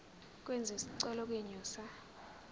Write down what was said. kwenziwe isicelo kwinxusa